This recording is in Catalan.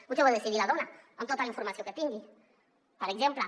potser ho ha de decidir la dona amb tota la informació que tingui per exemple